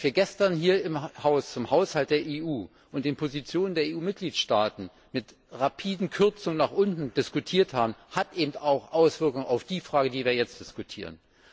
Was wir gestern hier im Haus zum Haushalt der EU und den Positionen der EU Mitgliedstaaten zu enormen Kürzungen diskutiert haben, hat eben auch Auswirkungen auf die Frage, über die wir jetzt diskutieren.